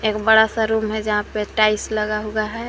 एक बड़ा सा रूम है जहां पे टाइल्स लगा हुआ है।